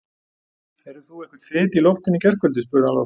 Heyrðir þú einhvern þyt í loftinu í gærkvöldi? spurði hann loks.